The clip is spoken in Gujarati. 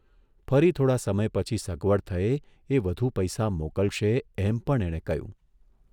ફરી થોડા સમય પછી સગવડ થયે એ વધુ પૈસા મોકલશે એમ પણ એણે કહ્યું.